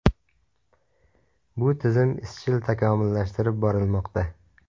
Bu tizim izchil takomillashtirib borilmoqda.